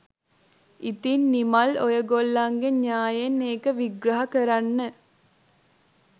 ඉතිං නිමල් ඕගොල්ලන්ගේ න්‍යායෙන් ඒක විග්‍රහ කරන්න